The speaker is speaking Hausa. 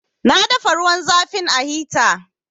Na dafa ruwan zafin a hita